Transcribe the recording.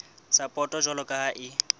sapoto jwalo ka ha e